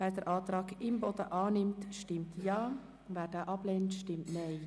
Wer den Antrag Imboden annimmt, stimmt Ja, wer diesen ablehnt, stimmt Nein.